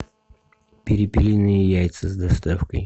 перепелиные яйца с доставкой